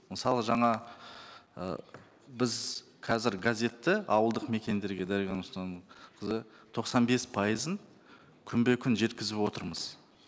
мысалы жаңа ы біз қазір газетті ауылдық мекендерге қызы тоқсан бес пайызын күнбе күн жеткізіп отырмыз